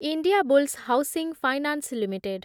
Indiabulls housing finance limited